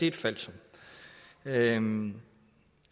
et falsum regeringen